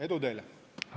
Edu teile!